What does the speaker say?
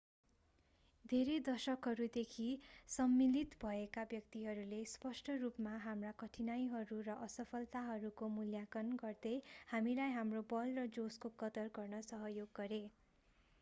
धेरै दशकहरूदेखि सम्मिलित भएका व्यक्तिहरूले स्पष्ट रूपमा हाम्रा कठिनाइहरू र असफलताहरूको मूल्याङ्कन गर्दै हामीलाई हाम्रो बल र जोशको कदर गर्न सहयोग गरे